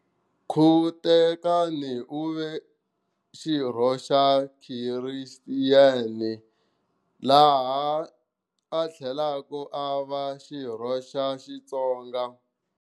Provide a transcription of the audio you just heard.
Khuketana uve xirho xa Christian laha a thlelaka ava xirho xa Xitsonga.